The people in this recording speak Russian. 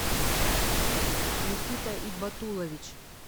никита ибатулович